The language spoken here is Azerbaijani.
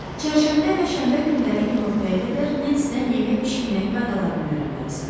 Çərşənbə və şənbə günləri günortaya qədər Nensidən yemək bişirməyin qaydalarını öyrənməlisən.